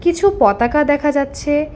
কিছু পতাকা দেখা যাচ্ছে।